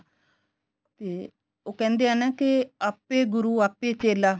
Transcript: ਤੇ ਉਹ ਕਹਿੰਦੇ ਏ ਨਾ ਕੇ ਆਪੇ ਗੁਰੂ ਆਪੇ ਚੇਲਾ